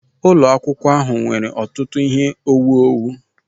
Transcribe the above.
Ụlọ akwụkwọ ahụ nwere ọtụtụ ihe owuwu